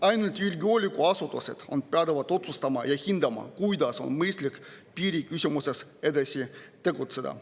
Ainult julgeolekuasutused on pädevad otsustama ja hindama, kuidas on mõistlik piiriküsimuses edasi tegutseda.